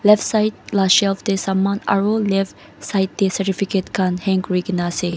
Leftside la shelf teh saman aro leftside teh certificate khan hang kurikena ase.